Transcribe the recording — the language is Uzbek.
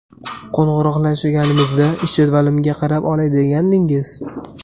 Qo‘ng‘iroqlashganimizda ish jadvalimga qarab olay degandingiz?